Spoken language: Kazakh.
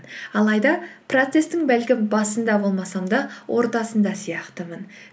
алайда процесстің бәлкім басында болмасам да ортасында сияқтымын